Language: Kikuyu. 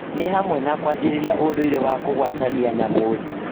Nĩ hamwe na kwanjĩrĩria ũndũire wa kũgwatania njamuthi